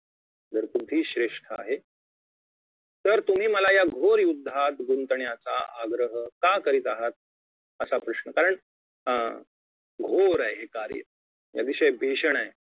जर बुद्धी श्रेष्ठ आहे तर तुम्ही मला या घोर युद्धात गुंतण्याचा आग्रह का करीत आहात असा प्रश्न कारण अं घोर आहे कार्य अतिशय भीषण आहे